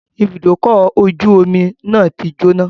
Ibùdókọ̀ ọkọ̀ ojú omi náà ti jóná